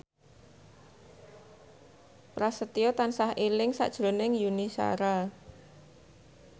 Prasetyo tansah eling sakjroning Yuni Shara